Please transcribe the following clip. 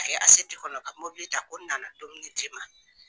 Ka kɛ kɔnɔ ka mObili ta ko n nana dumuni d'i ma.